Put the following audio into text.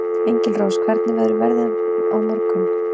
Engilrós, hvernig verður veðrið á morgun?